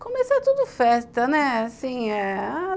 Começou tudo festa, né? assim, a